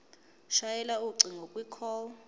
shayela ucingo kwicall